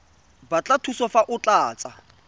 batla thuso fa o tlatsa